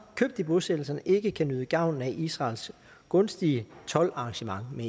købt i bosættelserne ikke kan nyde gavn af israels gunstige toldarrangement med